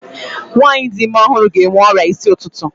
Nwaanyị di ime ọhụrụ ga-enwe ọrịa isi ụtụtụ.